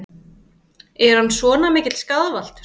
Er hann svona mikill skaðvaldur?